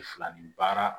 Fila nin baara